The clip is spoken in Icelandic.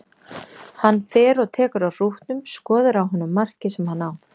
Hann fer og tekur á hrútnum, skoðar á honum markið sem hann á.